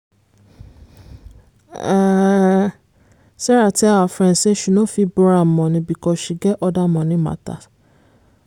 um sarah tell her friend say she no fit borrow am money because she get other money matters.